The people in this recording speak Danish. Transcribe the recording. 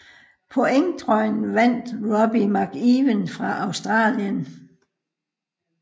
Pointtrøjen vandt Robbie McEwen fra Australien